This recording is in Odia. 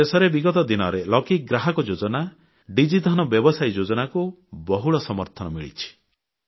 ଆମ ଦେଶରେ ବିଗତ ଦିନରେ ଲକି ଗ୍ରାହକ ଯୋଜନା ଡିଜି ଧନ ବ୍ୟବସାୟୀ ଯୋଜନାକୁ ବହୁଳ ସମର୍ଥନ ମିଳିଛି